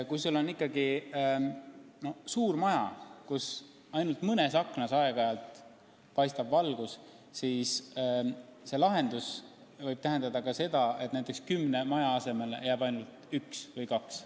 Kui on ikkagi suured majad, kus ainult mõnest aknast aeg-ajalt paistab valgus, siis lahendus võib tähendada ka seda, et kümne maja asemele jääb ainult üks või kaks.